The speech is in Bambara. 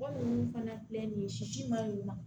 fana filɛ nin ye sisi ma ɲi wa